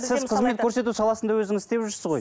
сіз қызмет көрсету саласында өзіңіз істеп жүрсіз ғой